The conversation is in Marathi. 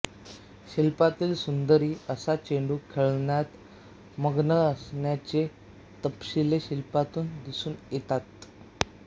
शिल्पातील सुंदरी असा चेंडू खेळण्यात मग्न असण्याचे तपशील शिल्पातून दिसून येतात